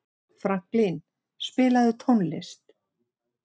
Franklín, spilaðu tónlist.